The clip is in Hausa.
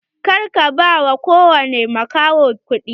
Kar ka ba kowane makaho kuɗi!